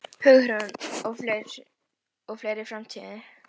Hinn norræni kynstofn væri samur nú og fyrir þúsundum ára.